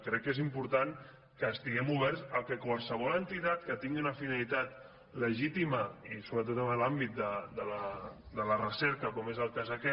crec que és important que estiguem oberts que qualsevol entitat que tingui una finalitat legítima i sobretot en l’àmbit de la recerca com és el cas aquest